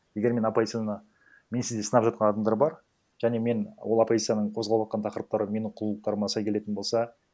егер мен оппозицияны менсіз де сынап жатқан адамдар бар және мен ол оппозицияның қозғап отырған тақырыптары менің кұндылықтарыма сай келетін болса